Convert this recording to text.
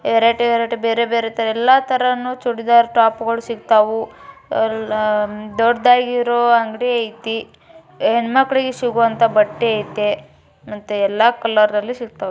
ಎರಡೆರಡು ಬೇರೆ ತರ ಎಲ್ಲ ಚೂಡಿದಾರ್ ಟಾಪ್ ಗಳು ಸಿಕ್ತಾವು ದೊಡ್ಡಗಿರೋ ಅಂಗಡಿ ಐತೆ ಹೆಣ್ಣು ಮಕ್ಕಳಿಗೆ ಸಿಗುವಂತ ಬಟ್ಟೆ ಐತೆ ಮತ್ತೆ ಎಲ್ಲಾ ಕಲ್ಲರಲ್ಲಿ ಸಿಗ್ತವೆ.